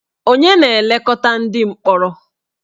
Ònye na-elekọta ndị mkpọrọ?